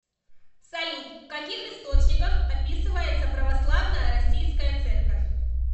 салют в каких источниках описывается православная российская церковь